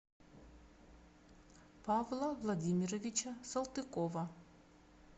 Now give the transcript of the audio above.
павла владимировича салтыкова